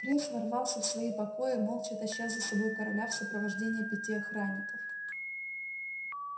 принц ворвался в свои покои молча таща за собой короля в сопровождении пяти охранников